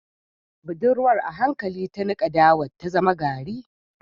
Budurwar a hankali ta nika dawar ta zama gari